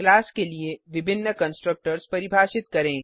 class के लिए विभिन्न कंस्ट्रक्टर्स परिभाषित करें